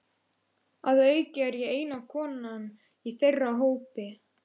Að auki er ég eina konan í þeirra hópi.